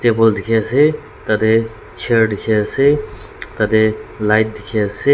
Table dekhe ase tatey chair dekhe ase tatey light dekhe ase--